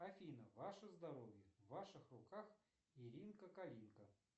афина ваше здоровье в ваших руках иринка калинка